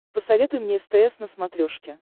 посоветуй мне стс на смотрешке